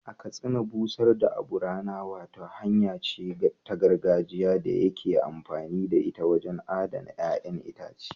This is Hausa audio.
A Katsina, busar da abu rana wata hanya ce ta gargajiya da ake amfani da ita wajen adana ƴa'ƴan itace.